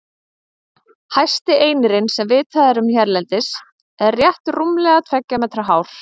Hæsti einirinn sem vitað er um hérlendis er rétt rúmlega tveggja metra hár.